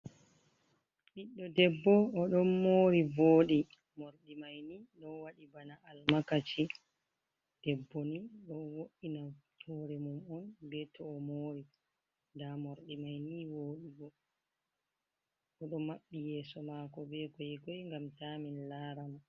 Biɗɗo ɗebbo oɗon mori voɗi. morɗi maini ɗo waɗi bana almakaci. Ɗebbo ni ɗo wo’ina hore mum on be to o mori. Nɗa morɗi maini woɗugo. Oɗo mabbi yeso mako be goigoi ngam ta min lara mo.